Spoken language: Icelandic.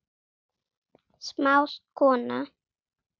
Smáð kona